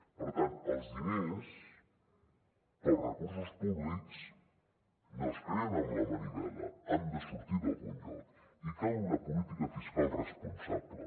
per tant els diners els recursos públics no es creen amb la manovella han de sortir d’algun lloc i cal una política fiscal responsable